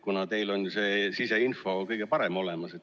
Teil on see kõige parem siseinfo olemas.